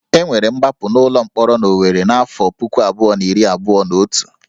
E nwere ngbapụ n'ụlọ mkpọrọ n'Owerri n'afọ puku abụọ na iri abụọ na otu